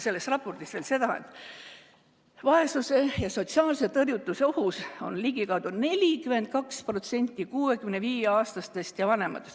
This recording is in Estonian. Selles raportis öeldakse veel, et vaesuse ja sotsiaalse tõrjutuse ohus on ligikaudu 42% 65‑aastastest ja vanematest.